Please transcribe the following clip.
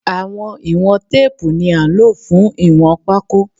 Àwọn ìwọ̀n teepu ní án ló fún ìwọ̀n pako